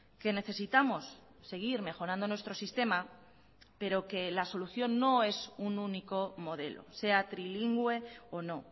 que necesitamos seguir mejorando nuestro sistema pero que la solución no es un único modelo sea trilingüe o no